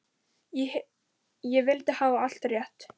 Ég vildi hafa allt rétt.